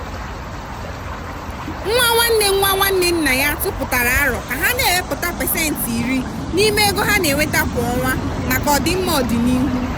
nwa nwanne nwa nwanne nna ya tụpụtara árò ka ha na-ewepụta pasentị iri n'ime ego ha na-enweta kwa ọnwa maka ọdịmma ọdịnihu.